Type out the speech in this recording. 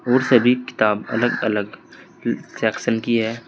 बहुत सारी किताब अलग अलग सेक्शन की है।